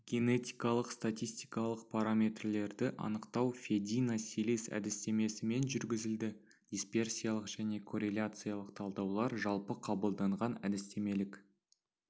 генетикалық-статистикалық параметрлерді анықтау федина силис әдістемесімен жүргізілді дисперсиялық және корреляциялық талдаулар жалпы қабылданған әдістемелік